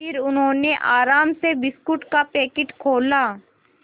फिर उन्होंने आराम से बिस्कुट का पैकेट खोला